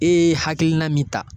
E ye hakilina min ta